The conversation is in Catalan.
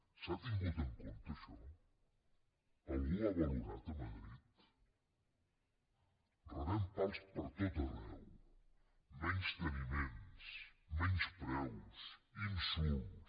s’ha tingut en compte això algú ho ha valorat a madrid rebem pals per tot arreu menysteniments menyspreus insults